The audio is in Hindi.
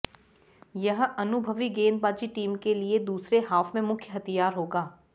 यह अनुभवी गेंदबाजी टीम के लिए दूसरे हाफ में मुख्य हथियार होगा